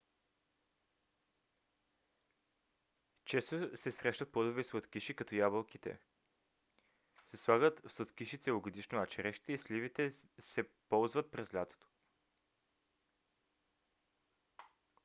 често се срещат плодови сладкиши като ябълките се слагат в сладкиши целогодишно а черешите и сливите се ползват през лятото